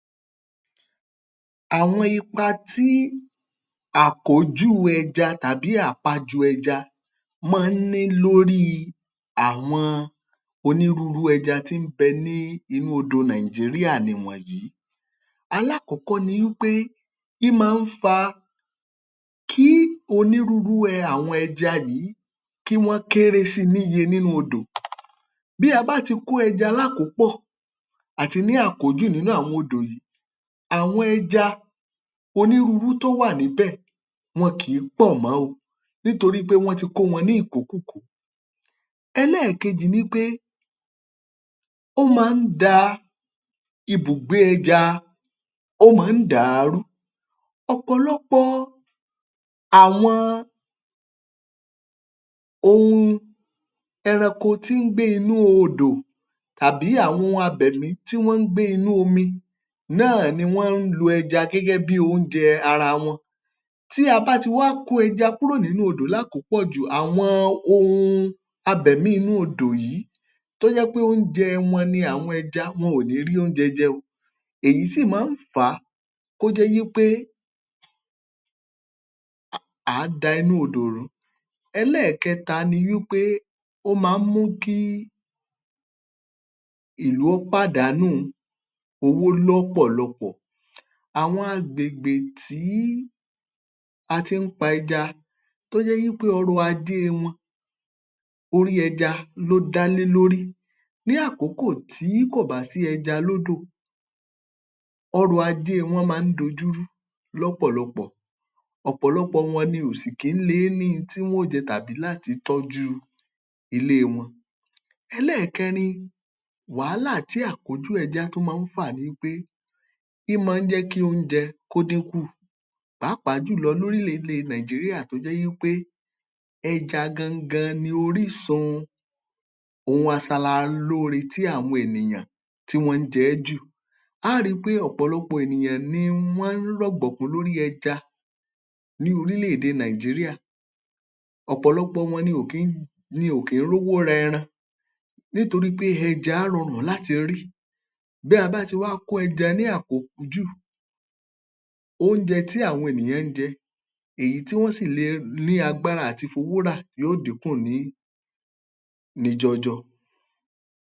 Àwọn ipa tí àkójù ẹja tàbí àpajù ẹja máa ń ní lórí àwọn onírúurú ẹja tí ń bẹ ní inú odò Nigeria nìwọ̀nyí: alákọ̀ọ́kọ́ ni wí pé ín máa ń fa kí onírúurú àwọn ẹja yìí kí wọ́n kéré sí i níye nínú odò. Bí a bá ti kó ẹja lákòópọ̀ àti ní àkójù nínú àwọn odò yìí, àwọn ẹja onírúurú tó wà níbẹ̀, wọn kì í pọ̀ mọ́ o nítorí pé wọ́n ti kó wọn ní ìkókúkòó. Ẹlẹ́ẹ̀kejì ni wí pé ó máa ń da ibùgbé ẹja, ó máa ń dà á rú. Ọ̀pọ̀lọpọ̀ àwọn ohun ẹranko tí ń gbé inú odò tàbí àwọn ohun abẹ̀mí tí wọ́n ń gbé inú omi náà ni wọ́n ń lo ẹja gẹ́gẹ́ bí oúnjẹ ara wọn. Tí a bá ti wá kó ẹja kúrò nínú odò lákòópọ̀jù, àwọn ohun abẹ̀mí inú odò yìí tó jẹ́ pé oúnjẹ wọn ni àwọn ẹja, wọn ò ní rí oúnjẹ jẹun. Èyí sì máa ń fà á kó jẹ́ wí pé à á da inú odò rú. Ẹlẹ́ẹ̀kẹta ni wí pé ó máa ń mú kí ìlú ó pàdanù owó lọ́pọ̀lọpọ̀. Àwọn agbègbè tí a ti ń pa ẹja tó jẹ́ wí pé ọrọ̀ ajé wọn, orí ẹja ló dá lé lórí, ní àkókò tí kò bá sí ẹja lódò, ọrọ̀ ajé wọ́n máa ń dojúrú lọ́pọ̀lọpọ̀. Ọ̀pọ̀lọpọ̀ wọn ni ò sì kí ń le é ní un tí wọ́n ó jẹ tàbí láti tọ́jú ilé wọn. Ẹlẹ́ẹ̀kẹrin, wàhálà tí àkójù ẹja tún máa ń fà ni wí pé ín máa ń jẹ́ kí oúnjẹ kó dínkù pàápàá jùlọ lórílẹ̀-èdè Nigeria tó jẹ́ wí pé ẹja gangan ni orísun ohun asalalóore tí àwọn ènìyàn tí wọn ń jẹ ẹ́ jù. A ó ri pé ọ̀pọ̀lọpọ̀ ènìyàn ni wọ́n ń rọ̀gbọ̀kún lórí ẹja ní orílẹ̀-èdè Nigeria. Ọ̀pọ̀lọpọ̀ wọn ni ò kí ń rówó ni ò kí ń rówó rẹran nítorí pé ẹja rọrùn láti rí. Bí a bá ti wá kó ẹja ní àkópjù, oúnjẹ tí àwọn ènìyàn ń jẹ, èyí tí wọ́n sì le ní agbára à ti fowó rà yóò dínkù ní ní jọọjọ.